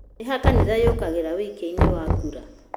nĩ ha kanitha yũkagĩra wũikia-inĩ wa kura?